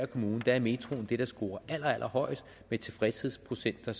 kommune er metroen det der scorer allerhøjest med tilfredshedprocenter